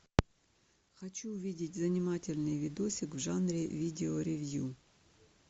хочу увидеть занимательный видосик в жанре видео ревью